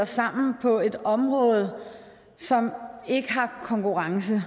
sammen på et område som ikke har konkurrence